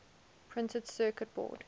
printed circuit board